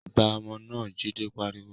Gbá ọmọ náà! Jide pariwo